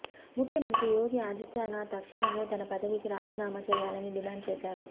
ముఖ్యమంత్రి యోగి ఆదిత్యానాథ్ తక్షణమే తన పదవికి రాజీనామా చేయాలని డిమాండ్ చేశారు